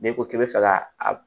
N'i ko k'i bɛ fɛ ka a